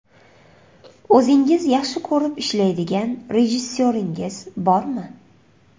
O‘zingiz yaxshi ko‘rib ishlaydigan rejissyoringiz bormi?